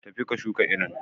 Tafi ka shuka irin.